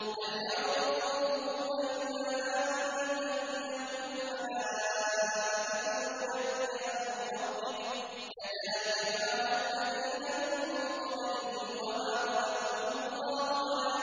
هَلْ يَنظُرُونَ إِلَّا أَن تَأْتِيَهُمُ الْمَلَائِكَةُ أَوْ يَأْتِيَ أَمْرُ رَبِّكَ ۚ كَذَٰلِكَ فَعَلَ الَّذِينَ مِن قَبْلِهِمْ ۚ وَمَا ظَلَمَهُمُ اللَّهُ